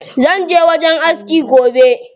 Zanje wajen aski gobe.